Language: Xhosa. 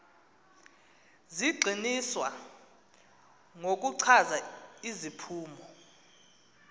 zigxininiswa ngokuchaza iziphumo